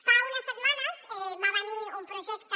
fa unes setmanes va venir un projecte